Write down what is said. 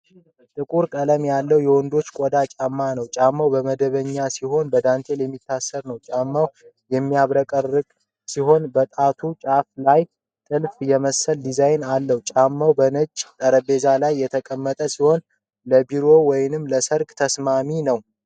ጥቁር ቀለም ያለው የወንዶች ቆዳ ጫማ ነው። ጫማው መደበኛ ሲሆን በዳንቴል የሚታሰር ነው። ጫማው የሚያብረቀርቅ ሲሆን በጣቱ ጫፍ ላይ ጥልፍ የመሰለ ዲዛይን አለው። ጫማው በነጭ ጠረጴዛ ላይ የተቀመጠ ሲሆን ለቢሮ ወይም ለሠርግ ተስማሚ ነው።